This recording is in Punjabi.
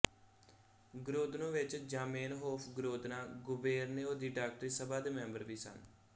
ਗਰੋਦਨੋ ਵਿੱਚ ਜ਼ਾਮੇਨਹੋਫ ਗਰੋਦਨਾ ਗੁਬੇਰਨਿੳ ਦੀ ਡਾਕਟਰੀ ਸਭਾ ਦੇ ਮੈਂਬਰ ਵੀ ਸਨ